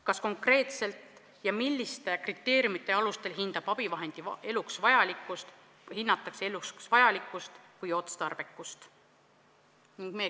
Kes konkreetselt ja milliste kriteeriumide alustel hindab abivahendi eluks vajalikkust või otstarbekust?